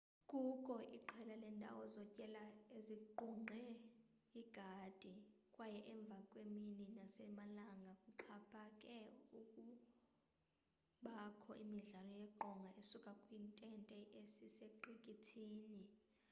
kukho iqela lendawo zotyela ezingqunge igadi kwaye emvakwemini nasemalanga kuxaphake ukubakho imidlalo yeqonga esuka kwi ntente esesiqikithini